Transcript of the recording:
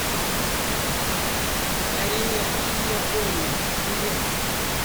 корея и япония билет